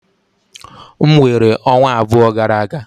M weere ọnwa abụọ gara aga.